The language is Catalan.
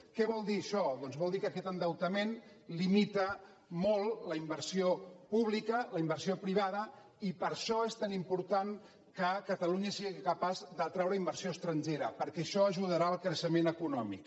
què vol dir això doncs vol dir que aquest endeutament limita molt la inversió pública la inversió privada i per això és tan important que catalunya sigui capaç d’atraure inversió estrangera perquè això ajudarà al creixement econòmic